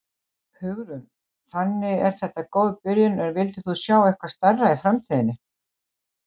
Hugrún: Þannig að þetta er góð byrjun en þú vildir sjá eitthvað stærra í framtíðinni?